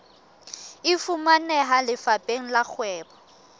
e fumaneha lefapheng la kgwebo